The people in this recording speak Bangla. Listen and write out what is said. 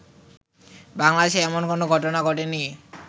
বাংলাদেশে এমন কোন ঘটনা ঘটেনি